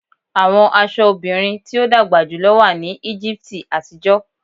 Awọn aṣọ obirin ti o dagba julọ wa lati Egipti atijọ